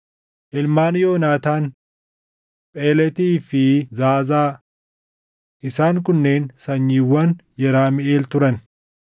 Ilmaan Yoonaataan: Pheletii fi Zaazaa. Isaan kunneen sanyiiwwan Yeramiʼeel turan.